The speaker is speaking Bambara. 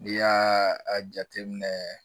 N'i y'a a jateminɛ